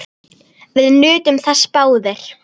Við nutum þess báðir.